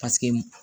Paseke